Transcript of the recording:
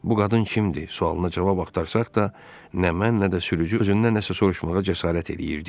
Bu qadın kimdi sualına cavab axtarsaq da, nə mən, nə də sürücü özündən nəsə soruşmağa cəsarət eləyirdik.